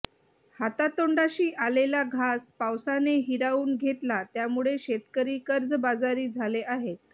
हातातोंडाशी आलेला घास पावसाने हिरावून घेतला त्यामुळे शेतकरी कर्जबाजारी झाले आहेत